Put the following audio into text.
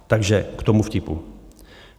Takže k tomu vtipu.